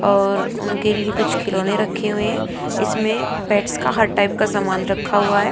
और उनके लिए कुछ खिलौने रखे हुए हैं इसमें पेट्स का हर टाइप का सामान रखा हुआ है।